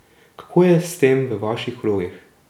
Kako je s tem v vaših krogih?